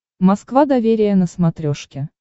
москва доверие на смотрешке